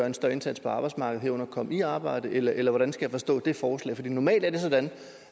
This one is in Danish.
en større indsats på arbejdsmarkedet herunder at komme i arbejde eller eller hvordan skal jeg forstå det forslag for normalt er det sådan